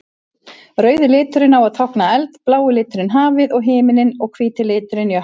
Rauði liturinn á að tákna eld, blái liturinn hafið og himininn og hvíti liturinn jökla.